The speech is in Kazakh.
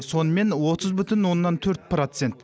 сонымен отыз бүтін оннан төрт процент